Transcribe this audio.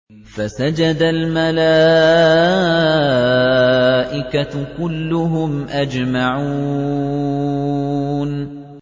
فَسَجَدَ الْمَلَائِكَةُ كُلُّهُمْ أَجْمَعُونَ